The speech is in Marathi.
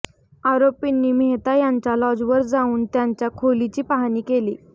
आरोपींनी मेहता यांच्या लॉजवर जाऊन त्यांच्या खोलीची पाहणी केली